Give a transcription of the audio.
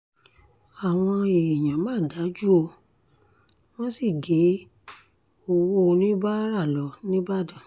àwọn èèyàn mà dájú ó wọ́n sì gé owó oníbàárà lọ nìbàdàn